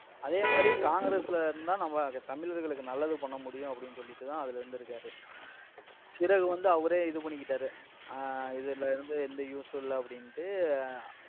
அதே மாதிரி காங்கிரஸ்ல இருந்துதான் நம்ம தமிழர்களுக்கு நல்லது பண்ண முடியும், அப்படின்னு சொல்லிட்டு தான் அதுல இருந்திருக்காரு பிறகு வந்து, அவரே இது பண்ணிக்கிட்டாரு. ஆஹ் இதுல இருந்து, எந்த use உம் இல்லை அப்படின்னுட்டு